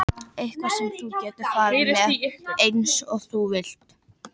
Eitthvað sem þú getur farið með eins og þú vilt.